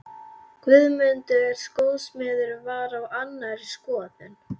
Guðmundur skósmiður var á annarri skoðun.